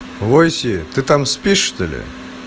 войси ты там спишь что ли